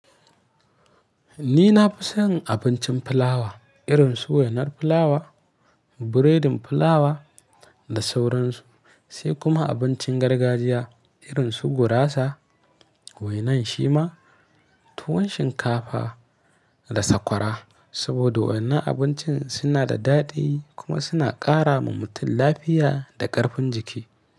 Ni na fi son abincin fulawa irin su wainar fulawa, biredin plawa da sauransu, sai kuma abincin gargajiya irin su gurasa, wainan shima, tuwon shinkafa da sakwara. Saboda wannan abincin suna da daɗi kuma suna ƙara wa mutum lafiya da ƙarfin jiki.